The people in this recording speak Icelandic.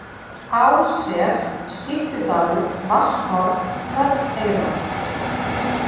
Ássel, Skyttudalur, Vatnshorn, Trölleyrar